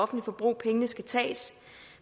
forbrug pengene skal tages